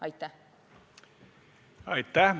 Aitäh!